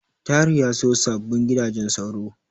Tahir ya siyo sababbin gidajen sauro.